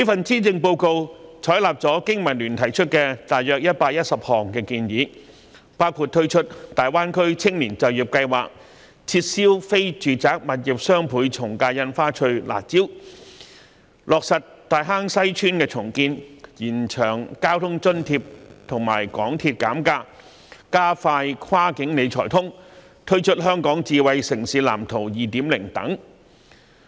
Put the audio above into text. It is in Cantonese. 施政報告採納了香港經濟民生聯盟提出的約110項建議，包括推出大灣區青年就業計劃、撤銷非住宅物業雙倍從價印花稅的"辣招"、落實大坑西邨重建、延長交通津貼及港鐵減價安排、加快落實"跨境理財通"、推出《香港智慧城市藍圖 2.0》等。